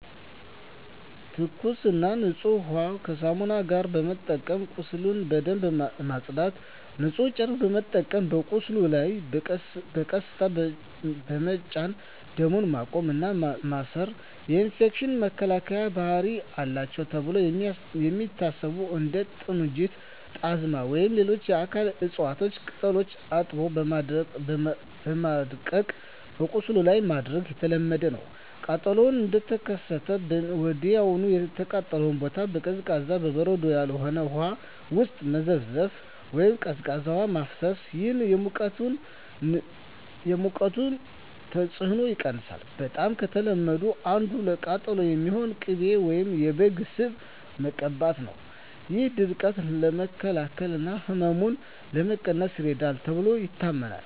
ትኩስና ንጹህ ውሃን ከሳሙና ጋር በመጠቀም ቁስሉን በደንብ ማጽዳት። ንጹህ ጨርቅ በመጠቀም በቁስሉ ላይ በቀስታ በመጫን ደም ማቆም እና ማሰር። የኢንፌክሽን መከላከያ ባህሪ አላቸው ተብለው የሚታሰቡ እንደ ጥንጁት፣ ጣዝማ ወይም ሌሎች የአካባቢው እፅዋት ቅጠሎችን አጥቦ በማድቀቅ በቁስሉ ላይ ማድረግ የተለመደ ነው። ቃጠሎው እንደተከሰተ ወዲያውኑ የተቃጠለውን ቦታ በቀዝቃዛ (በበረዶ ያልሆነ) ውሃ ውስጥ መዘፍዘፍ ወይም ቀዝቃዛ ውሃ ማፍሰስ። ይህ የሙቀቱን ተጽዕኖ ይቀንሳል። በጣም ከተለመዱት አንዱ ለቃጠሎ የሚሆን ቅቤ ወይም የበግ ስብ መቀባት ነው። ይህ ድርቀትን ለመከላከል እና ህመምን ለመቀነስ ይረዳል ተብሎ ይታመናል።